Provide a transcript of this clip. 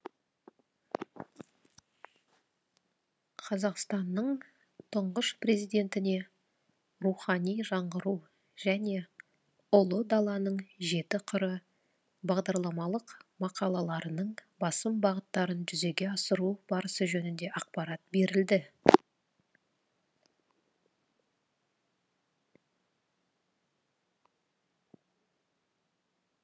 қазақстанның тұңғыш президентіне рухани жаңғыру және ұлы даланың жеті қыры бағдарламалық мақалаларының басым бағыттарын жүзеге асыру барысы жөнінде ақпарат берілді